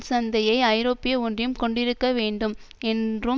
சந்தையை ஐரோப்பிய ஒன்றியம் கொண்டிருக்க வேண்டும் என்றும்